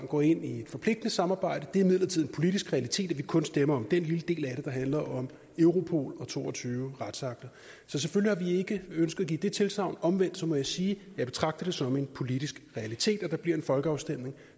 gå ind i et forpligtende samarbejde men det er imidlertid en politisk realitet at vi kun stemmer om den lille del af det der handler om europol og to og tyve retsakter så selvfølgelig ikke ønsket at give det tilsagn omvendt må jeg sige at jeg betragter det som en politisk realitet at der bliver en folkeafstemning